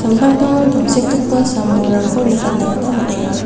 amtangtango tangsekgipa sam-bolrangko nikatna gita man·enga.